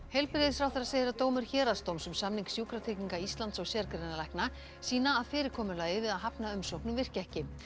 heilbrigðisráðherra segir að dómur héraðsdóms um samning Sjúkratrygginga Íslands og sérgreinalækna sýni að fyrirkomulagið við að hafna umsóknum virki ekki